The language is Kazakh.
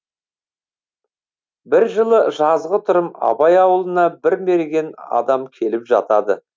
бір жылы жазғытұрым абай аулына бір мерген адам келіп жатады